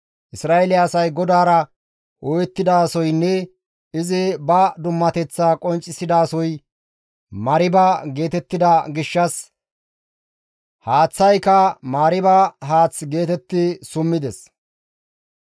Isra7eele asay GODAARA ooyettidasoynne izi ba dummateththaa qonccisidasoy Mariiba geetettida gishshas haaththayka Mariiba haath geetetti summides.